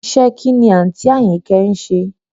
Iṣẹ́ ẹ kín ni àǹtí Àyìnkẹ́ ń ṣe?